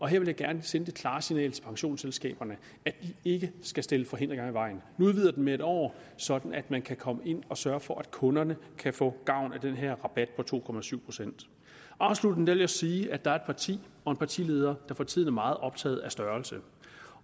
her vil jeg gerne sende det klare signal til pensionsselskaberne at de ikke skal stille forhindringer i vejen vi udvider den med en år sådan at man kan komme ind og sørge for at kunderne kan få gavn af den her rabat på to procent procent afsluttende vil jeg sige at der er et parti og en partileder der for tiden er meget optaget af størrelse